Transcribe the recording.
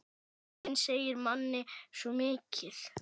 Röddin segir manni svo mikið.